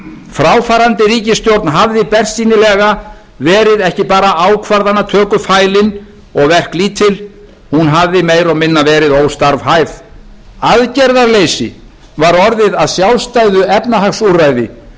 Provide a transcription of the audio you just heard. fráfarandi ríkisstjórn hafði bersýnilega verið ekki bara ákvarðanatökufælin og verklítil hún hafði meira og minna verið óstarfhæf aðgerðaleysi var orðið að sjálfstæðu efnahagsúrræði það